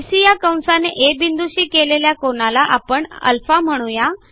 BC या कंसाने आ बिंदूशी केलेल्या कोनाला आपण α म्हणू या